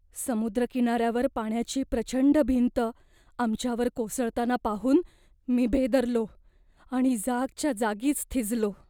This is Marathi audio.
समुद्रकिनार्यावर पाण्याची प्रचंड भिंत आमच्यावर कोसळताना पाहून मी भेदरलो आणि जागच्या जागीच थिजलो.